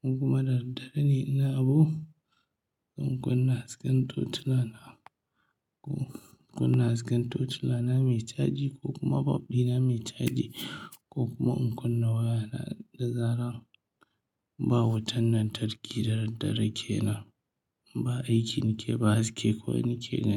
Kuma da daddare ne ina abu, zan kunna hasken tocila na, ko kunna hasken tocila na me caji ko kuma bab ɗina me caji ko kuma in kunna waya na da zarar ba wutan lantarki da daddare ke nan. Ba aiki nake ba, haske kawai nake gani.